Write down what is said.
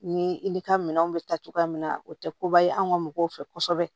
Ni i ka minɛnw bɛ ta cogoya min na o tɛ koba ye an ka mɔgɔw fɛ kosɛbɛ